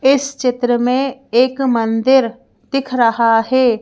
इस चित्र में एक मंदिर दिख रहा है।